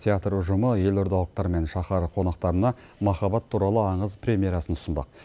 театр ұжымы елордалықтар мен шаһар қонақтарына махаббат туралы аңыз премьерасын ұсынбақ